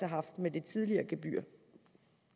haft med det tidligere gebyr